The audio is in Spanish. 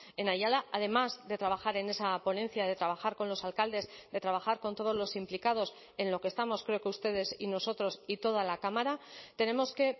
en ayala además de trabajar en esa ponencia de trabajar con los alcaldes de trabajar con todos los implicados en lo que estamos creo que ustedes y nosotros y toda la cámara tenemos que